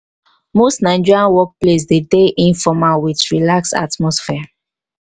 most nigerian work place dey de informal with relaxed atmosphere